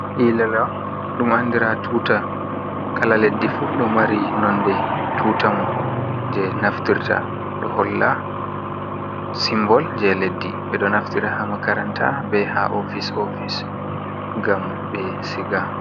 Ilala ɗum andira tuta, kala leddi fu ɗo mari nonde tuta mu je naftirta, ɗo holla simbol je leddi, ɓe ɗo naftira ha makaranta, be ha ofic ofic gam ɓe siga.